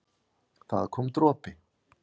það kom dropi.